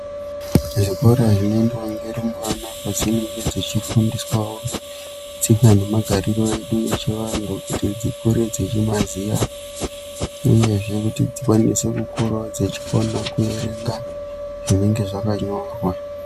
Zvikora zvinoendwa ngerumbwana kwadzinenge dzechifundiswawo tsika nemagariro edu echivanhu kuti dzikure dzechimaziya uyezve kuti dzikwanise kukurawo dzechikona kuverenga zvinenge zvakanyorwa.